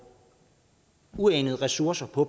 uanede ressourcer på